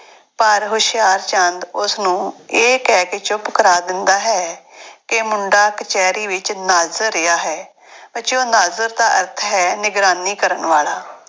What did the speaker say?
ਪਰ ਹੁਸ਼ਿਆਰਚੰਦ ਉਸਨੂੰ ਇਹ ਕਹਿ ਕੇ ਚੁੱਪ ਕਰਾ ਦਿੰਦਾ ਹੈ ਕਿ ਮੁੰਡਾ ਕਚਿਹਰੀ ਵਿੱਚ ਨਾਜ਼ਰ ਰਿਹਾ ਹੈ ਬੱਚਿਓ ਨਾਜ਼ਰ ਦਾ ਅਰਥ ਹੈ ਨਿਗਰਾਨੀ ਕਰਨ ਵਾਲਾ।